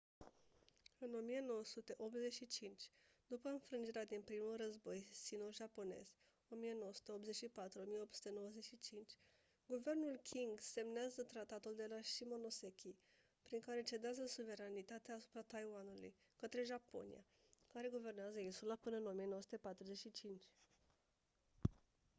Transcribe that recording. în 1985 după înfrângerea din primul război sino-japonez 1984-1895 guvernul qing semnează tratatul de la shimonoseki prin care cedează suveranitatea asupra taiwanului către japonia care guvernează insula până în 1945